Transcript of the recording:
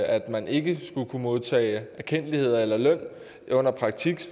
at man ikke kunne modtage erkendtlighed eller løn under praktik